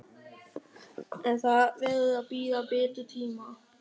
En það verður að bíða betri tíma.